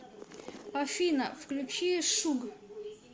афина включи шуг